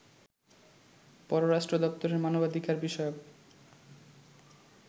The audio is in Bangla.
পররাষ্ট্র দপ্তরের মানবাধিকার বিষয়ক